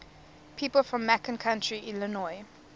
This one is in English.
people from macon county illinois